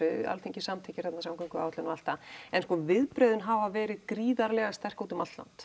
Alþingi samþykkir þarna samgönguáætlun og allt það en viðbrögðin hafa verið gríðarlega sterk út um allt land